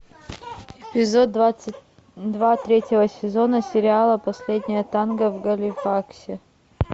эпизод двадцать два третьего сезона сериала последнее танго в галифаксе